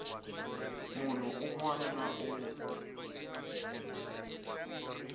munhu un wana na un